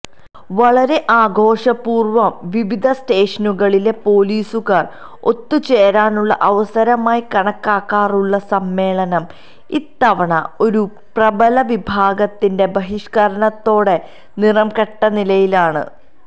വളരെ ആഘോഷപൂര്വം വിവിധ സ്റ്റേഷനുകളിലെ പോലീസുകാര് ഒത്തുചേരാനുള്ള അവസരമായി കണക്കാക്കാറുള്ള സമ്മേളനം ഇത്തവണ ഒരു പ്രബല വിഭാഗത്തിന്റെ ബഹിഷ്കരണത്തോടെ നിറംകെട്ടനിലയിലാണ്